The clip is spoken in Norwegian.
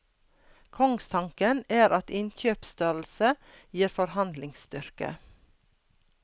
Kongstanken er at innkjøpsstørrelse gir forhandlingsstyrke.